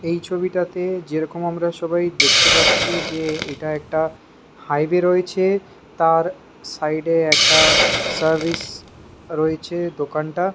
এই ছবিটাতে যেমন আমরা সবাই দেখতে পাচ্ছি যে এটা একটা হাইওয়ে রয়েছে তার সাইড এ একটা সার্ভিসে রয়েছে দোকানটা--